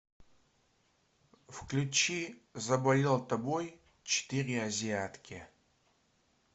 включи заболел тобой четыре азиатки